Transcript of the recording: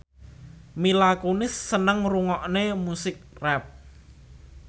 Mila Kunis seneng ngrungokne musik rap